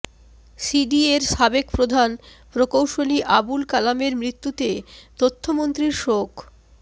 সিডিএর সাবেক প্রধান প্রকৌশলী আবুল কালামের মৃত্যুতে তথ্যমন্ত্রীর শোক